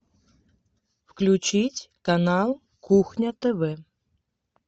включить канал кухня тв